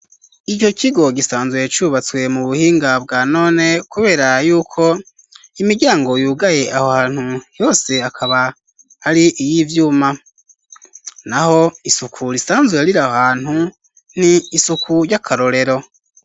Ico kigo gisanzwe cubatswe mu buhinga bwa none kubera yuko imiryango yugaye aho hantu yose akaba ari iyivyuma naho isuku risanzuwe rira aho hantu n'isuku ry'akarorero.